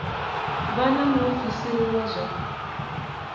vha na muofisiri wa zwa